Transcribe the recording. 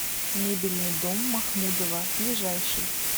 мебельный дом махмудова ближайший